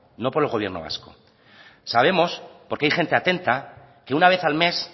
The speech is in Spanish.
no por el gobierno vasco sabemos porque hay gente atenta que una vez al mes